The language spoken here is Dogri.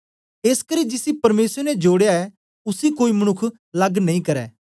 एसकरी जिसी परमेसर ने जोड़या ऐ उसी कोई मनुक्ख लग नेई करै